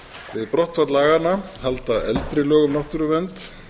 við brottfall laganna halda eldri lög um náttúruvernd